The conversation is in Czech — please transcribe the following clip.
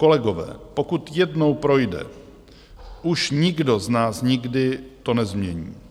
Kolegové, pokud jednou projde, už nikdo z nás nikdy to nezmění.